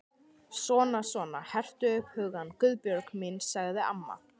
Svona svona, hertu upp hugann, Guðbjörg mín sagði amma.